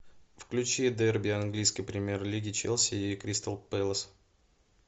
включи дерби английской премьер лиги челси и кристал пэлас